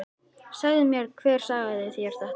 Segðu mér hver sagði þér þetta.